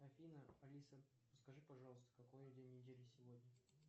афина алиса скажи пожалуйста какой день недели сегодня